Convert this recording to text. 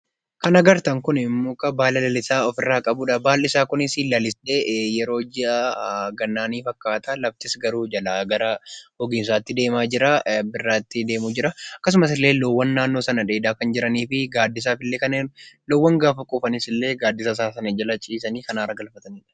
Kan agartan kun muka baala lalisaa ofirraa qabudha. Baalli isaa kunis lalisee yeroo ji'a gannaa fakkaata, laftis garuu jalaa gara gogiinsaatti deemaa jira, birraatti deemaa jira. Akkasumas illee loowwan naannoo sana dheedaa kan jiraniif fi gaaddisaaf illee loowwan yoo quufan ille gaaddisa isaa sana jala ciisanii kan aara galfatanidha.